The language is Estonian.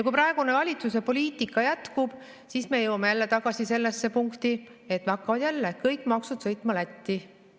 Kui praegune valitsuse poliitika jätkub, siis me jõuame jälle tagasi sellesse punkti, et hakkavad jälle kõik maksud sõitma Lätti.